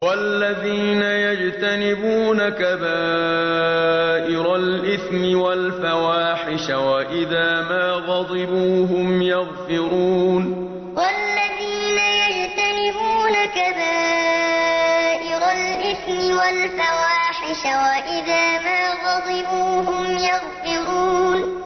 وَالَّذِينَ يَجْتَنِبُونَ كَبَائِرَ الْإِثْمِ وَالْفَوَاحِشَ وَإِذَا مَا غَضِبُوا هُمْ يَغْفِرُونَ وَالَّذِينَ يَجْتَنِبُونَ كَبَائِرَ الْإِثْمِ وَالْفَوَاحِشَ وَإِذَا مَا غَضِبُوا هُمْ يَغْفِرُونَ